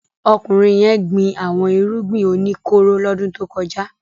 Ọkùnrin yẹn gbin àwọn irúgbìn o ní kóró lọ́dún tó kọjá.